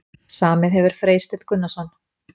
Samið hefur Freysteinn Gunnarsson.